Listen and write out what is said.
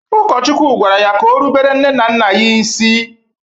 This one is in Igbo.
Ụkọchukwu gwara ya ka o rubere nne na nna ya isi.